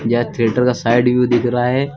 यह थिएटर का side view दिख रहा है।